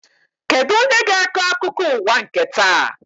Kedụ onye ga-akọ akụkọ ụwa nke taa?